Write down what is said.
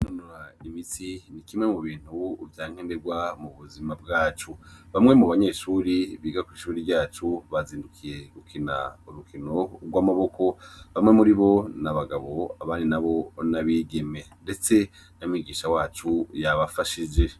Kwinonora imitsi, ni kimwe mu bintu vya nkenerwa mu buzima bwacu. Bamwe mu banyeshure biga kw'ishure ryacu bazindukiye gukina urukino rw'amaboko, bamwe muri bo ni abagabo abandi nabo ni abigeme. Ndetse na mwigisha wacu yabafashije.